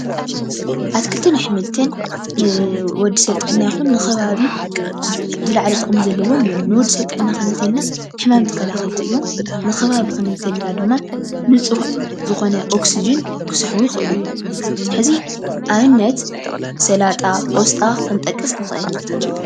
ኣትክልትን ኣሕምልትን ንወዲ ሰብ ጥዕና ይኩን ንከባቢ ዝለዓለ ጥቅሚ ዘለዎም እዮም። ንወዲ ሰብ ጥዕና ክንብል ከለና ሕማም ተከላከልቲ እዮም ንከባቢ ክንብል እንተኢልና ድማ ንፁህ ዝኮነ ኦክስጀን ክስሕቡ ይክእሉ። ሕዚ ኣብነት ሰላጣ፣ ቆስጣ ክንጠቅስ ንክእል።